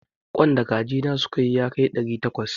Ƙwan da kaji na suka yi yakar ɗari takwas.